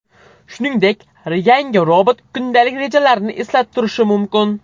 Shuningdek, yangi robot kundalik rejalarni eslatib turishi mumkin.